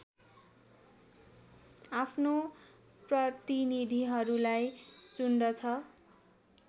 आफ्नो प्रतिनीधिहरूलाई चुन्दछ